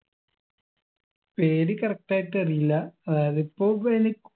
പേര് correct ആയിട്ട് അറിയില്ല അതായത് ഇപ്പൊ പിന്നി